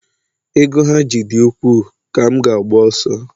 ego ha ji dị ukwuu ka m ga-agba ọsọ